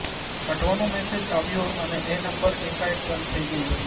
કાઢવાનો મેસેજ આવ્યો અને એ નંબર એકાએક બંધ થઈ ગયો